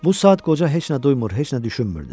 Bu saat qoca heç nə duymur, heç nə düşünmürdü.